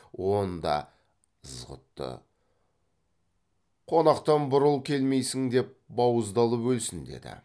онда ызғұтты қонақтан бұрыл келмейсің деп бауыздалып өлсін деді